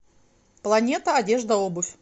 планета одежда обувь